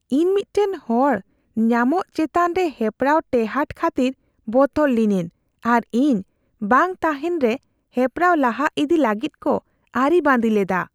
ᱤᱧ ᱢᱤᱫᱴᱟᱝ ᱦᱚᱲ ᱧᱟᱢᱚᱜ ᱪᱮᱛᱟᱱ ᱨᱮ ᱦᱮᱯᱨᱟᱣ ᱴᱮᱦᱟᱸᱰ ᱠᱷᱟᱹᱛᱤᱨ ᱵᱚᱛᱚᱨ ᱞᱤᱱᱟᱹᱧ ᱟᱨ ᱤᱧ ᱵᱟᱝ ᱛᱟᱦᱮᱱ ᱨᱮ ᱦᱮᱯᱨᱟᱣ ᱞᱟᱦᱟ ᱤᱫᱤ ᱞᱟᱹᱜᱤᱫ ᱠᱚ ᱟᱹᱨᱤᱵᱟᱸᱫᱤ ᱞᱮᱫᱟ ᱾